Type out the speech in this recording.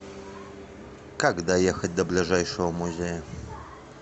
как доехать до ближайшего музея